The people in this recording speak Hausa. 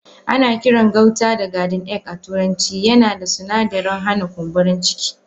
Ana Kiran gauta da garden egg a turanci yana da suna darin hana kumburin ciki.